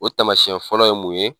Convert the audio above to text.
O tamasiɲɛ fɔlɔ ye mun ye?